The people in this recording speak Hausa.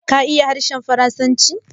Ka iya harshen Faransanci?